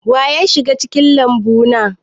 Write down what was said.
Wa ya shiga cikin lambu na?